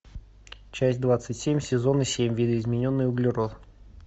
часть двадцать семь сезона семь видоизмененный углерод